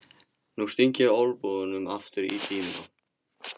Nú sting ég olnbogunum aftur í dýnuna.